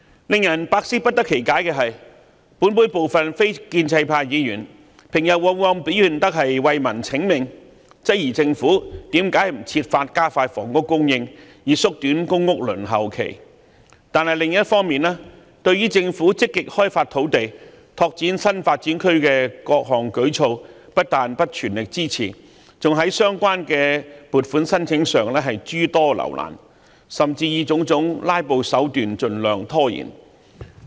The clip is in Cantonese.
令人百思不得其解的是，本會部分非建制派議員平日往往表現得為民請命，質疑政府為何不設法加快房屋供應，以縮短公屋輪候時間，但另一方面對政府積極開發土地、拓展新發展區的各項舉措不但沒有全力支持，還在審批相關撥款申請時諸多留難，甚至以種種"拉布"手段盡量拖延。